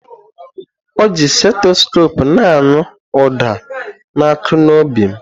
Ọji seteskopu na-anụ uda na-akụ n'obi m.